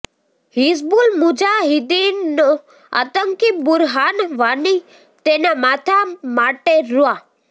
હિઝબુલ મુજાહિદીનનો આતંકી બુરહાન વાની તેના માથાં માટે રૂા